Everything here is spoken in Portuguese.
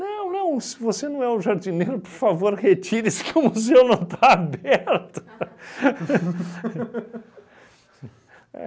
não, se você não é o jardineiro, por favor, retire-se que o museu não está aberto.